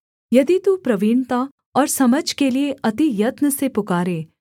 यदि तू प्रवीणता और समझ के लिये अति यत्न से पुकारे